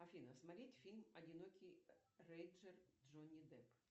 афина смотреть фильм одинокий рейнджер джонни депп